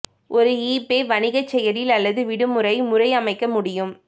ஒரு ஈபே வணிக செயலில் அல்லது விடுமுறை முறை அமைக்க முடியும்